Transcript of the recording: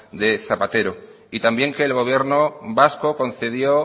de zapatero y también que el gobierno vasco concedió